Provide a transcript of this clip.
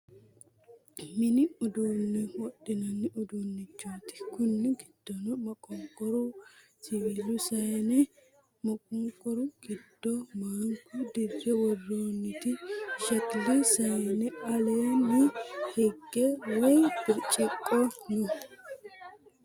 Minni uddune wodhinnanni uddunnichoti. Kuni giddonno maqoniqqoru, siwiilu saayinne, maqoniqqoru giddo maanikku, dirre woronniti shakkili saayine alleni higge wayi biriciqqo noo